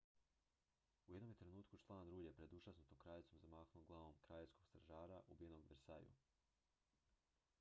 u jednom je trenutku član rulje pred užasnutom kraljicom zamahnuo glavom kraljevskog stražara ubijenog u versaillesu